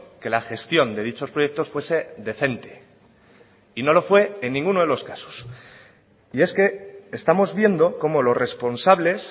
que la gestión de dichos proyectos fuese decente y no lo fue en ninguno de los casos y es que estamos viendo cómo los responsables